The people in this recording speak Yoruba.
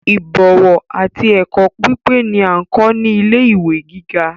Ibọ̀wọ̀ àti ẹkọ pípé ni a n kọ ni ilé ìwé gíga.